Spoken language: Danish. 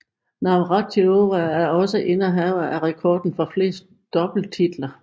Navratilova er også indehaver af rekorden for flest doubletitler